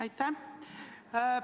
Aitäh!